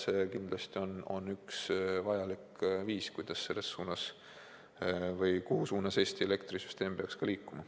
See on kindlasti üks vajalik viis, mille suunas Eesti elektrisüsteem peaks ka liikuma.